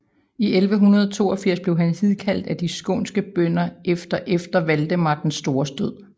I 1182 blev han hidkaldt af de skånske bønder efter efter Valdemar den stores død